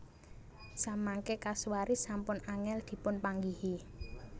Samangké kasuari sampun angèl dipunpanggihi